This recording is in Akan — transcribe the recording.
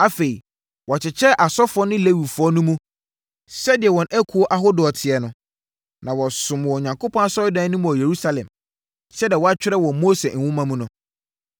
Afei, wɔkyekyɛɛ asɔfoɔ ne Lewifoɔ no mu, sɛdeɛ wɔn akuo ahodoɔ teɛ no, ma wɔsomm wɔ Onyankopɔn asɔredan no mu wɔ Yerusalem, sɛdeɛ wɔatwerɛ wɔ Mose Nwoma mu no.